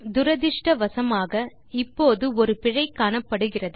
துரதிருஷ்டவசமாக இப்போது ஒரு பிழை காணப்படுகிறது